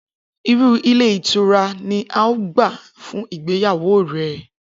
Irú ilé ìtura ni o óò gbà fún ìgbéyàwó rè̩?